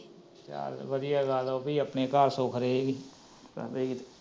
ਚੱਲ, ਵਧੀਆ ਗੱਲ ਉਹ ਵੀ ਆਪਣੇ ਘੱਰ ਸੁਖ ਰਹੇਗੀ